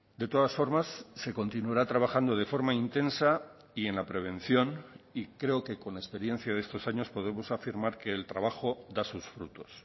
de todas formas se continuará trabajando de forma intensa y en la prevención y creo que con la experiencia de estos años podemos afirmar que el trabajo da sus frutos